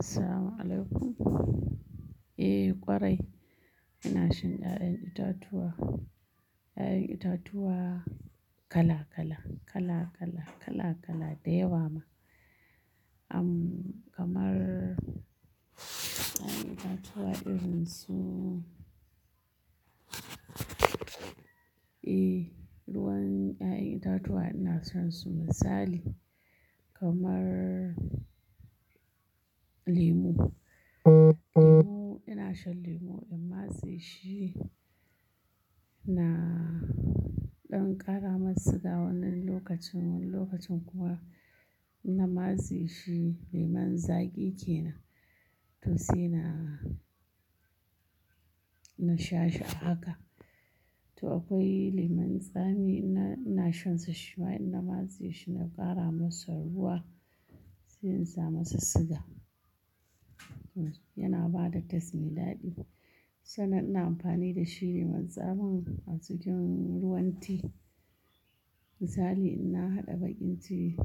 Assalamu'alaikum, eh ƙwarai ina shan ƴaƴan itatuwa, ƴaƴan itatuwa kala kala, kala kala, kala kala da yawa ma. Amm kamar ƴaƴan itatuwa irin su, eh ruwan ƴaƴan itatuwa ina shan su misali kamar lemu, lemu ina shan lemu in matse shi na ɗan kara masa siga wani lokacin, wani lokacin kuma ina matse shi lemon zaƙi kenan to sai na, na sha shi a haka. To akwai lemon tsami ina, ina shansa shi ma in na matse shi na ƙara masa ruwa sai in sa masa siga. Yana ba da taste mai daɗi, sannan ina amfani da shi lemon tsamin a cikin ruwan tea. Misali in na haɗa baƙin tea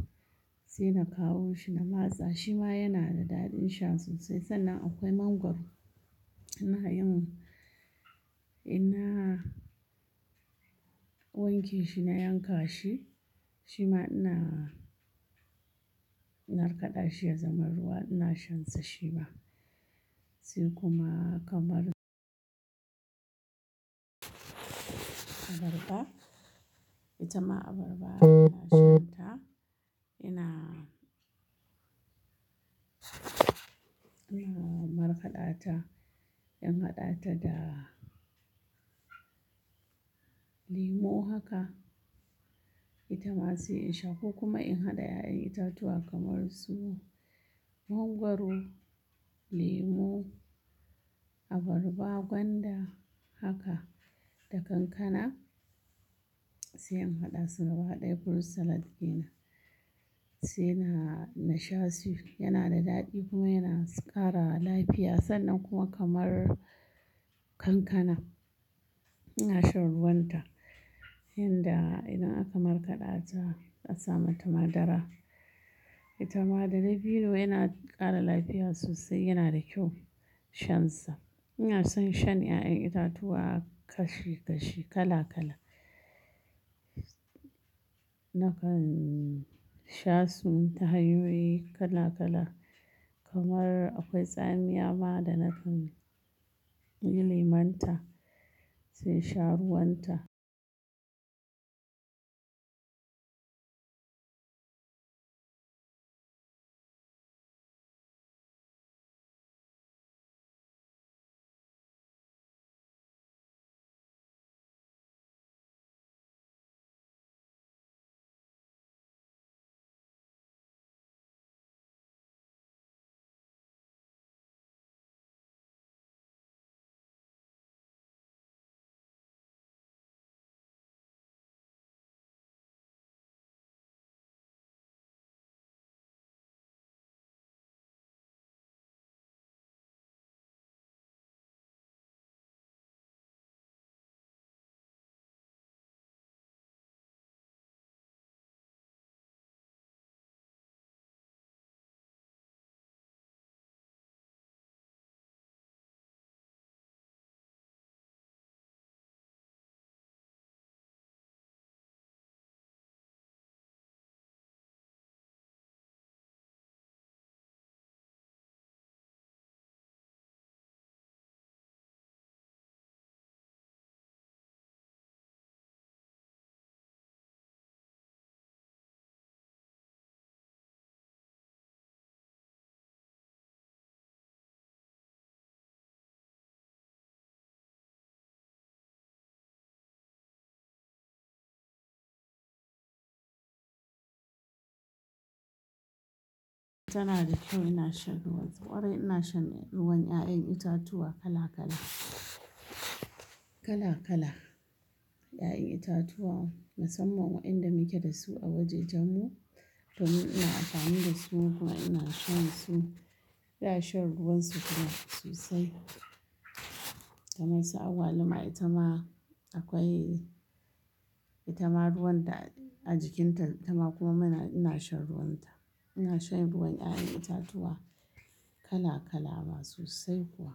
sai na kawo shi na matsa shi ma yana da daɗin sha sosai. Sannan akwai mangwaro, ina yin-- ina wanke shi na yanka shi, shi ma ina markaɗa shi ya zama ruwa ina shan sa shi ma. Sai kuma kamar abarba, itama abarba ina shan ta ina, ina markaɗa ta, in haɗa ta da lemu haka itama sai in sha ko kuma in haɗa ƴaƴan itatuwa kamar su mangwaro, lemu, abarba, gwanda haka da kankana sai in haɗa su gabaɗaya fruit salad kenan. Sai na, na sha shi yana da daɗi kuma yana ƙara lafiya sannan kuma kamar kankana ina shan ruwan ta. Inda idan aka markaɗa ta a sa mata madara, itama da dabino yana ƙara lafiya sosai yana da kyau shansa. Ina son shan ƴaƴan itatuwa kashi kashi kala kala. Nakan sha su hanyoyi kala kala kamar akwai tsamiya ma da na kan yi lemon ta sai sha ruwan ta. Tana da kyau ina shan ruwan su, ƙwarai ina shan ruwan ƴaƴan itatuwa kala kala, kala kala. Ƴaƴan itatuwa musamman wa'inda muke da su a wajajen mu to ni ina amfani da su kuma ina shan su. Ina shan ruwan su kuma sosai. Kamar su agwaluma, itama akwai itama ruwan ta a jikin ta itama kuma ina shan ruwan ta. Ina shan ruwan ƴaƴan itatuwa kala kala ma sosai kuwa.